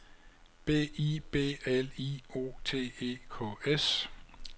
B I B L I O T E K S